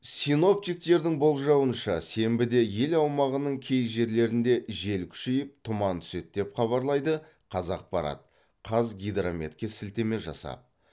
синоптиктердің болжауынша сенбіде ел аумағының кей жерлерінде жел күшейіп тұман түседі деп хабарлайды қазақпарат қазгидрометке сілтеме жасап